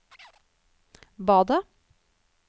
badet